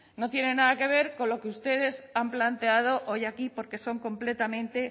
no tiene nada que ver con lo que ustedes han planteado hoy aquí porque son completamente